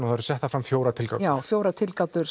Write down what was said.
það eru settar fram fjórar tilgátur já fjórar tilgátur